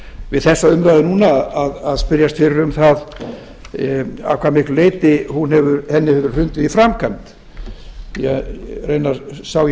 við þessa umræðu núna að spyrjast fyrir um það að hvað miklu leyti henni hefur verið hrundið í framkvæmd því raunar sá ég